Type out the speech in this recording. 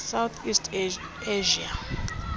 south east asia